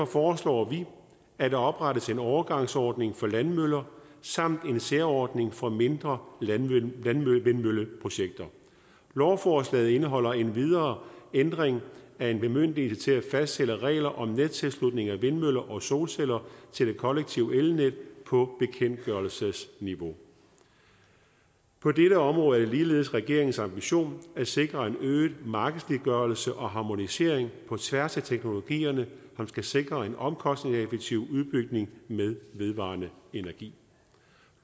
foreslår vi at der oprettes en overgangsordning for landmøller samt en særordning for mindre landvindmølleprojekter lovforslaget indeholder endvidere ændring af en bemyndigelse til at fastsætte regler om nettilslutning af vindmøller og solceller til det kollektive elnet på bekendtgørelsesniveau på dette område er det ligeledes regeringens ambition at sikre en øget markedsliggørelse og harmonisering på tværs af teknologierne som skal sikre en omkostningseffektiv udbygning med vedvarende energi